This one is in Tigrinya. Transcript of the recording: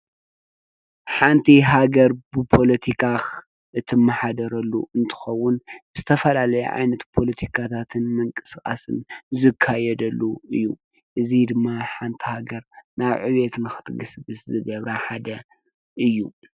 ሓንቲ ሃገር ብፖለቲካ እትመሓደረሉ እንትኾን ዝተፈላለዩ ዓይነት ፖለቲካታትን ምቅስቃስን ዝካየደሉ እዩ፡፡ እዚ ድማ ሓንቲ ሃገር ናብ ዕቤት ንኸትግስግስ ዝገብራ ሓደ እዩ፡፡